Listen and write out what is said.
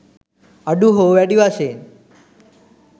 අඩු හෝ වැඩි වශයෙන්